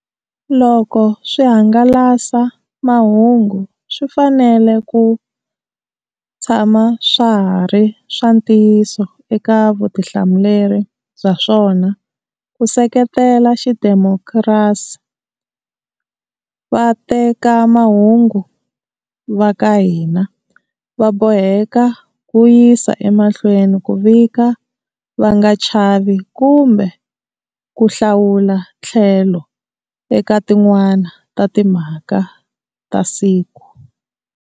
Loko swihangalasamahungu swi fanele ku tshama swa ha ri swa ntiyiso eka vutihlamuleri bya swona ku seketela xidemokirasi, vatekamahungu va ka hina va boheka ku yisa emahlweni ku vika va nga chavi kumbe ku hlawula tlhelo eka tin'wana ta timhaka ta siku.